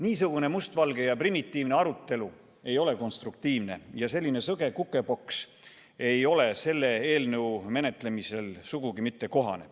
Niisugune mustvalge ja primitiivne arutelu ei ole konstruktiivne, ja selline sõge kukepoks ei ole selle eelnõu menetlemisel sugugi kohane.